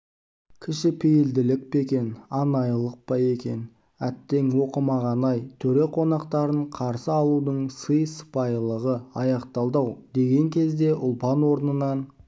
кішіпейілділік пе екен анайылық па екен әттең оқымағаны-ай төре қонақтарын қарсы алудың сый-сыпайылығы аяқталды-ау деген кезде ұлпан орнынан